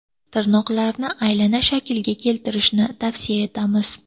Tirnoqlarni aylana shaklga keltirishni tavsiya etamiz.